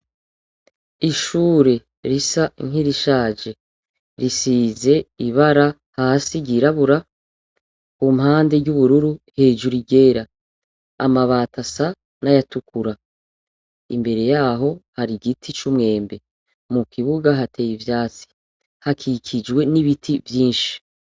Ishuri ,risa nkirishaje risize ibara hasi ry'irabura, ku mpande ry'ubururu, hejuru iryera. Amabati asa n'ayatukura. Imbere yaho har'igiti c'umwembe. Mu kibuga hateye ivyatsi. Hakikijwe n'ibiti vyinshi.